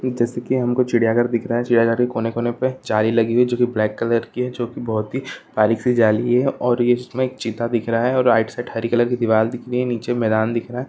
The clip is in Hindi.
जैसे की हमको चिड़िया घर दिख रहा है चिड़िया घर के कोने कोने पे जाली लगी हुई है जो की ब्लैक कलर की है जो की बहुत ही बारीक़ सी जाली है और इसमे एक चीता दिख रहा है और राइट साइड हरी कलर की दीवाल दिख रही है नीचे मैदान दिख रहा हैं।